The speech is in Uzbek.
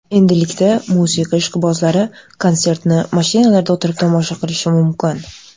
Endilikda musiqa ishqibozlari konsertni mashinalarida o‘tirib tomosha qilishi mumkin.